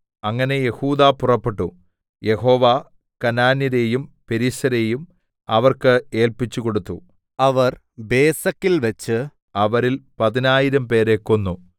അങ്ങനെ യെഹൂദാ പുറപ്പെട്ടു യഹോവ കനാന്യരെയും പെരിസ്യരെയും അവർക്ക് ഏല്പിച്ചുകൊടുത്തു അവർ ബേസെക്കിൽവെച്ച് അവരിൽ പതിനായിരംപേരെ കൊന്നു